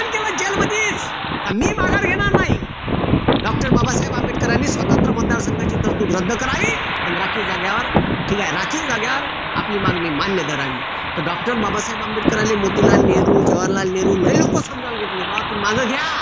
नाही doctor बाबासाहेब आंबेडकरांनी स्वतंत्र मतदारसंघाची तरतूद रद्द करावी अन राखीव जागेवर ठीक आहे राखीव जागेवर आपली मागणी मान्य करावी तर doctor बाबासाहेब आंबेडकराले मोतीलाल नेहरू जवाहरलाल नेहरू लय लोक समजावला घेतले बुआ तुम्ही माघे घ्या